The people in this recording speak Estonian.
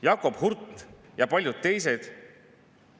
Tempo oli tohutult, läbikoputamise soov väga-väga kirglik.